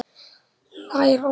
Lær oss að kenna